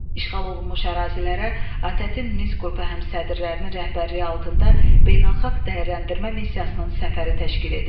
İşğal olunmuş ərazilərə ATƏT-in Minsk qrupu həmsədrlərinin rəhbərliyi altında beynəlxalq dəyərləndirmə missiyasının səfəri təşkil edildi.